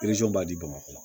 b'a di bamakɔ